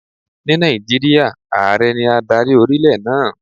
Ní Nàìjíríà, Ààrẹ ní adarí orílẹ̀ náà.